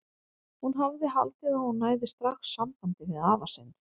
Hún hafði haldið að hún næði strax sambandi við afa sinn.